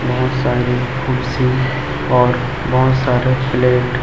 बहोत सारी कुर्सी और बहोत सारे प्लेट --